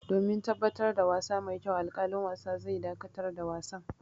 Domin tabbatar da wasa mai kyau, alƙalin wasa zai dakatar da wasan.